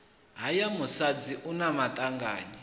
haya musadzi hu na maṱanganyi